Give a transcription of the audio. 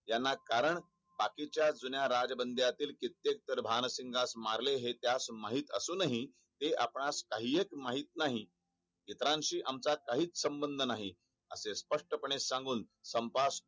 याला कारण बाकीच्या जुन्या राजबंड्यातील कित्येक भानसिंगास मारले ते असेल हे माहित असून हि हे आपणास काही एक माहित नाही इतरांशी आमचा काही संबंध नाही असे स्पष्ट पने सांगून संपास